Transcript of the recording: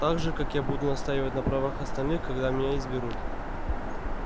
так же как я буду настаивать на правах остальных когда меня изберут